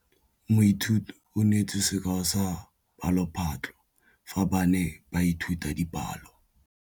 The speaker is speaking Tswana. Moithuti o neetse sekaô sa palophatlo fa ba ne ba ithuta dipalo.